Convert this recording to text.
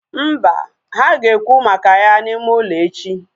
Mba, ha ga ekwu maka ya na ime ụlọ echi